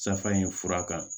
Safa in fura kan